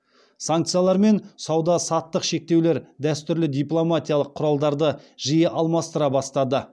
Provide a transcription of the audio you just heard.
санкциялар мен сауда саттық шектеулер дәстүрлі дипломатиялық құралдарды жиі алмастыра бастады